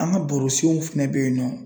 An ga barosenw fɛnɛ be yen nɔ